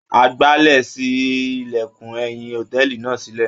Agbálẹ̀ ṣí ilẹ̀kùn ẹ̀yìn hòtẹ́ẹ̀lì náà sílẹ̀.